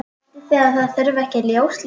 Haldið þið að það þurfi ekki ljós líka?